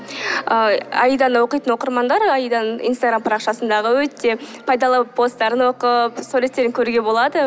ы аиданы оқитын оқырмандар аиданың инстаграм парақшасындағы өте пайдалы посттарын оқып суреттерін көруге болады